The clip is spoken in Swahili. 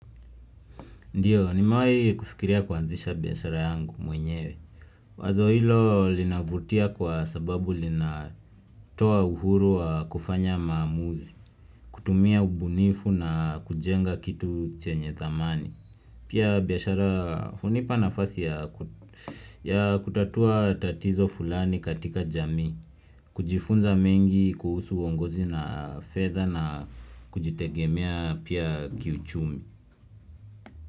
Ndiyo, nimewahi kufikiria kuanzisha biashara yangu mwenyewe. Wazo hilo linavutia kwa sababu lina toa uhuru wa kufanya maamuzi, kutumia ubunifu na kujenga kitu chenye thamani. Pia biashara hunipa nafasi ya kutatua tatizo fulani katika jamii, kujifunza mengi kuhusu uongozi na fedha na kujitegemea pia kiuchumi.